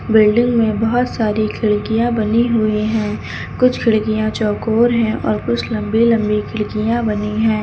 Building में बहोत सारी खिड़कियां बनी हुई है कुछ खिड़कियां चौकोर है और कुछ लंबी लंबी खिड़कियां बनी है।